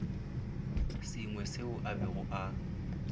sengwe seo a bego a